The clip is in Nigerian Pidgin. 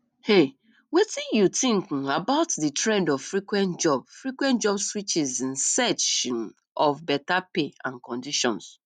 um wetin you think um about di trend of frequent job frequent job switches in search um of beta pay and conditions